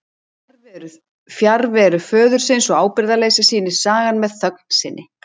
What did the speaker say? Fjarveru föðurins og ábyrgðarleysi sýnir sagan með þögn sinni.